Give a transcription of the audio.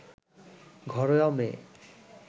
ঘরোয়া মেয়ে